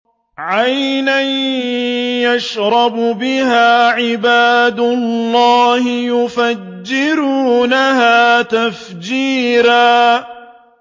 عَيْنًا يَشْرَبُ بِهَا عِبَادُ اللَّهِ يُفَجِّرُونَهَا تَفْجِيرًا